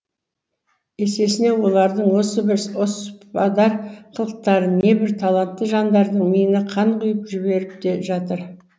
есесіне олардың осы бір оспадар қылықтары небір талантты жандардың миына қан құи ып жіберіп те жатыр